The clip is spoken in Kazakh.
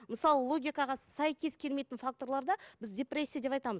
мысалы логикаға сәйкес келмейтін факторларда біз депрессия деп айтамыз